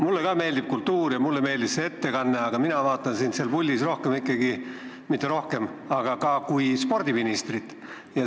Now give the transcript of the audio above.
Mulle ka meeldib kultuur ja mulle meeldis see ettekanne, aga mina vaatan sind seal puldis ka kui spordiministrit.